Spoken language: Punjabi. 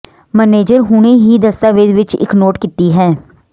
ਮੈਨੇਜਰ ਹੁਣੇ ਹੀ ਦਸਤਾਵੇਜ਼ ਵਿੱਚ ਇੱਕ ਨੋਟ ਕੀਤੀ ਹੈ